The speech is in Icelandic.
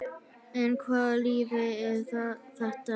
En hvaða lyf er þetta?